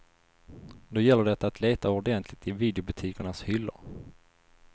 Då gäller det att leta ordentligt i videobutikernas hyllor.